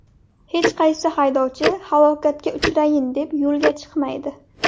Hech qaysi haydovchi halokatga uchrayin deb yo‘lga chiqmaydi.